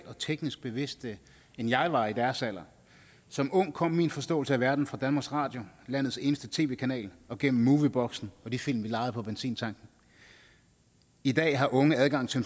og teknisk bevidste end jeg var i deres alder som ung kom min forståelse af verden fra danmarks radio landets eneste tv kanal og gennem movieboksen og de film vi lejede på benzintanken i dag har unge adgang til